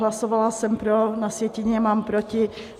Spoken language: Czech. Hlasovala jsem pro, na sjetině mám proti.